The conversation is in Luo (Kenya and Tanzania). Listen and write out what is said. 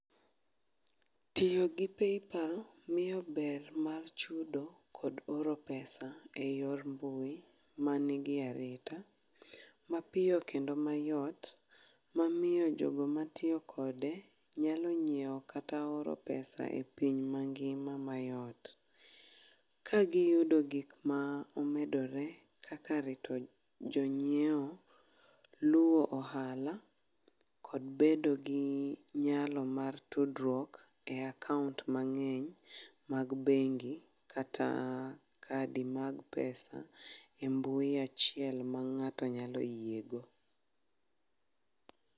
Tiyogi paypal miyo ber mar chudo kod oro pesa e yor mbui manigi arita mapiyo kendo mayot, mamiyo jogo mtiyo kode nyalo nyiewo kata oro pesa e piny mangima mayot. Ka giyudo gik ma omedore kaka rito jonyiewo, luwo ohala kod bedogi nyalo mar tudruok e akaont mang'eny mag bengi kata kadi mag pesa e mbui achiel ma ng'ato nyalo yiego.